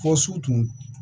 Fɔ su tun